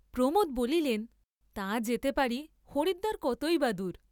প্রমোদ বলিলেন, তা যেতে পারি হরিদ্বার কতই বা দূর!